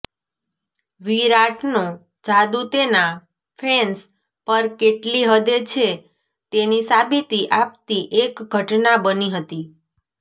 વિરાટનો જાદૂ તેના ફેન્સ પર કેટલી હદે છે તેની સાબિતી આપતી એક ઘટના બની હતી